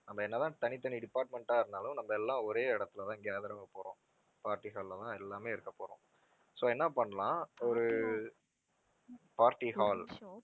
நம்ம என்னதான் தனித்தனி department ஆ இருந்தாலும் நம்ம எல்லாம் ஒரே இடத்துலதான் gather ஆகப் போறோம், party hall லதான் எல்லாமே இருக்கப் போறோம். so என்ன பண்ணலாம் ஒரு party hall